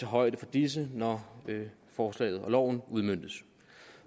højde for disse når forslaget og loven udmøntes